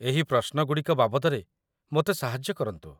ଏହି ପ୍ରଶ୍ନଗୁଡ଼ିକ ବାବଦରେ ମୋତେ ସାହାଯ୍ୟ କରନ୍ତୁ